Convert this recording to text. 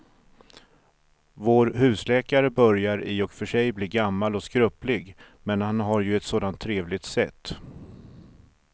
Vår husläkare börjar i och för sig bli gammal och skröplig, men han har ju ett sådant trevligt sätt!